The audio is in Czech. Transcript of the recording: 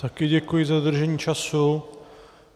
Taky děkuji za dodržení času.